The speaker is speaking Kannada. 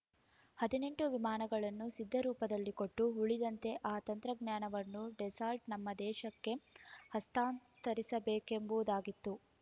ಹದಿನೆಂಟು ವಿಮಾನಗಳನ್ನು ಸಿದ್ಧರೂಪದಲ್ಲಿ ಕೊಟ್ಟು ಉಳಿದಂತೆ ಆ ತಂತ್ರಜ್ಞಾನವನ್ನು ಡೆಸ್ಸಾಲ್ಟ್‌ ನಮ್ಮ ದೇಶಕ್ಕೆ ಹಸ್ತಾಂತರಿಸಬೇಕೆಂಬುದಾಗಿತ್ತು